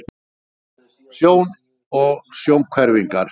Sjón og sjónhverfingar.